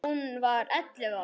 Hún var ellefu ára.